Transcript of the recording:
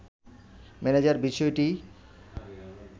manager বিষয়টি